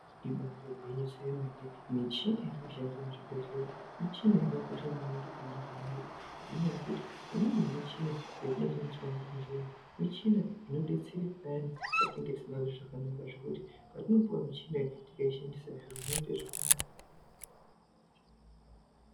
Ibari gwinyiso yemene michini irikushandiswa muzvibhedhlera michini yakakosha maningi pandaramo yedu ngenaya yekuti imweni yemuchina yatinoshandiswa muzvibhedhleyo muchina jnodetsera payani patinenge tisingazwi zvakanaka zvekuti patinopuwa michina iyi tikashandisa zviro zvinoita zvakanaka.